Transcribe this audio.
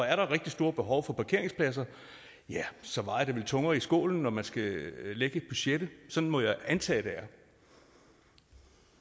er der et rigtig stort behov for parkeringspladser ja så vejer det vel tungere i skålen når man skal lægge budgettet sådan må jeg antage det